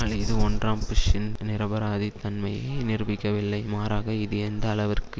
ஆனால் இது ஒன்றாம் புஷ்ஷின் நிரபராதித் தன்மையை நிரூபிக்கவில்லை மாறாக இது எந்த அளவிற்கு